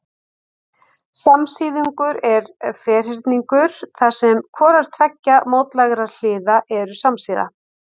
Samsíðungur er ferhyrningur þar sem hvorar tveggja mótlægra hliða eru samsíða.